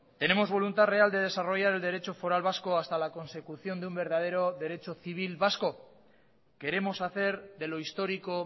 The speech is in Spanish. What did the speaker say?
tenemos voluntad real de desarrollar el derecho foral vasco hasta la consecución de un verdadero civil vasco queremos hacer de lo histórico